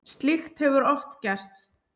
Slíkt hefur oft gerst.